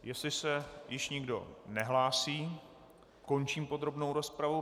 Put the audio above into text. Jestli se již nikdo nehlásí, končím podrobnou rozpravu.